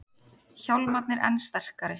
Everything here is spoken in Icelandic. Hjálmarnir enn sterkari